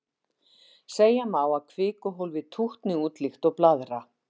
Segja má að kvikuhólfið tútni út líkt og blaðra.